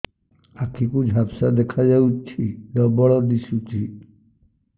ଆଖି କୁ ଝାପ୍ସା ଦେଖାଯାଉଛି ଡବଳ ଦିଶୁଚି